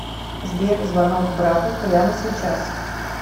сбер звонок брату прямо сейчас